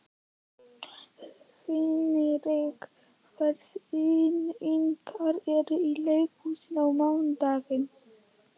Hinrika, hvaða sýningar eru í leikhúsinu á mánudaginn?